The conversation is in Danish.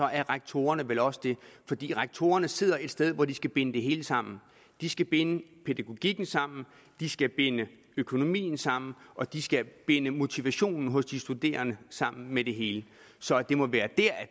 er rektorerne vel også det fordi rektorerne sidder et sted hvor de skal binde det hele sammen de skal binde pædagogikken sammen de skal binde økonomien sammen og de skal binde motivationen hos de studerende sammen med det hele så det må være her at